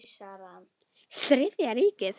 Þriðja ríkið.